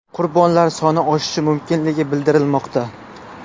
Qurbonlar soni oshishi mumkinligi bildirilmoqda.